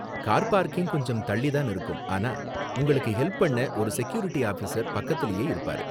Car parking கொஞ்சம் தள்ளி தான் இருக்கும், ஆனா உங்களுக்கு ஹெல்ப் பண்ண ஒரு செக்யூரிட்டி ஆஃபிசர் பக்கத்துலயே இருப்பாரு.